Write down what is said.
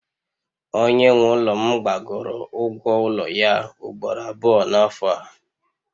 Onye nwe ụlọ m gbagoro ụgwọ ụlọ ya ugboro abụọ n'afọ a